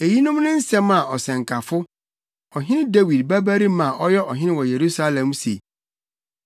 Eyinom ne nsɛm a Ɔsɛnkafo, ɔhene Dawid babarima a ɔyɛ ɔhene wɔ Yerusalem se: